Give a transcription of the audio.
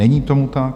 Není tomu tak.